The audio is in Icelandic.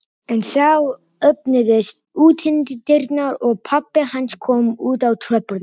En þá opnuðust útidyrnar og pabbi hans kom út á tröppurnar.